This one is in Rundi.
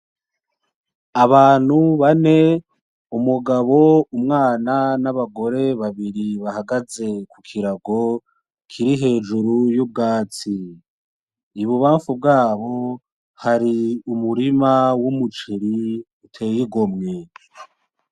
Abantu bane umugabo ,umwana n'abagore babiri bahagaze kukirago kiri hejuru yubwatsi ibubafu rwayo hari umurima w'umuceri uteye gomwe.